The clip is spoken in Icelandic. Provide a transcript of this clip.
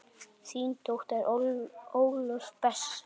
Þín dóttir Ólöf Bessa.